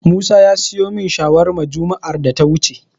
Musa ya siyo min shawarma juma'ar da ta wuce.